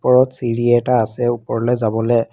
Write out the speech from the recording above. ওপৰত চিৰি এটা আছে ওপৰলৈ যাবলে।